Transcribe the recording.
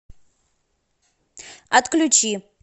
отключи